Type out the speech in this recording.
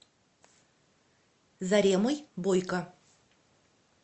заремой бойко